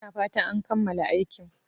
Ina fatan an kammala aikin